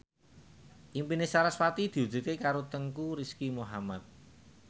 impine sarasvati diwujudke karo Teuku Rizky Muhammad